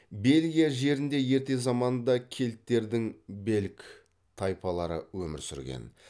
бельгия жерінде ерте заманда кельттердің белг тайпалары өмір сүрген